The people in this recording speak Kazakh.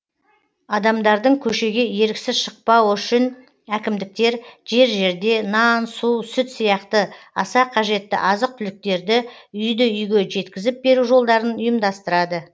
адамдардың көшеге еріксіз шықпауы үшін әкімдіктер жер жерде нан су сүт сияқты аса қажетті азық түліктерді үйді үйге жеткізіп беру жолдарын ұйымдастырады